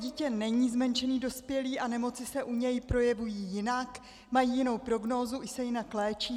Dítě není zmenšený dospělý a nemoci se u něj projevují jinak, mají jinou prognózu i se jinak léčí.